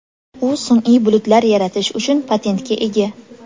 U sun’iy bulutlar yaratish uchun patentga ega.